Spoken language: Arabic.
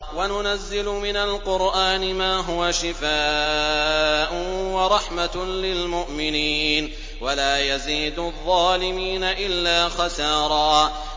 وَنُنَزِّلُ مِنَ الْقُرْآنِ مَا هُوَ شِفَاءٌ وَرَحْمَةٌ لِّلْمُؤْمِنِينَ ۙ وَلَا يَزِيدُ الظَّالِمِينَ إِلَّا خَسَارًا